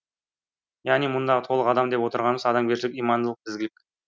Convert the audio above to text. яғни мұндағы толық адам деп отырғанымыз адамгершілік имандылық ізгілік